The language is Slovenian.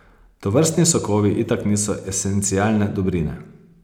Tovrstni sokovi itak niso esencialne dobrine.